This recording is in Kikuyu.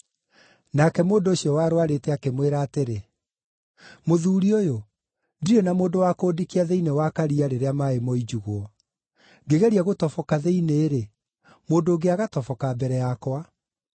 Nake mũndũ ũcio warũarĩte akĩmwĩra atĩrĩ, “Mũthuuri ũyũ, ndirĩ na mũndũ wa kũndikia thĩinĩ wa karia rĩrĩa maaĩ moinjugwo. Ngĩgeria gũtoboka thĩinĩ-rĩ, mũndũ ũngĩ agatoboka mbere yakwa.”